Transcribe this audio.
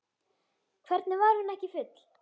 Hvernig var hún ekki full?